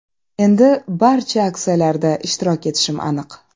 Endi barcha aksiyalarda ishtirok etishim aniq.